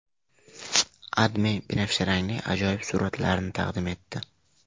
AdMe binafsharangli ajoyib suratlarni taqdim etdi .